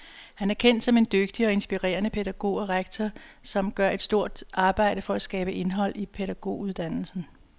Han er kendt som en dygtig og inspirerende pædagog og rektor, som gør et stort arbejde for at skabe indhold i pædagoguddannelsen.